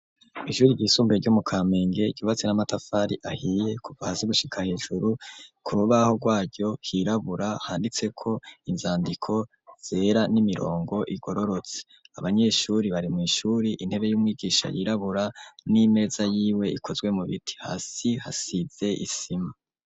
Ishure ryisumbuye ryo mu Kamenge, ryubatse n'amatafari ahiye, kuva hasi gushika hejuru, ku rubaho rwayo hirabura, handitseko inzandiko zera n'imirongo igororotse, abanyeshuri bari mw'ishuri, intebe y'umwigisha yirabura n'imeza yiwe ikozwe mu biti, hasi hasize isima.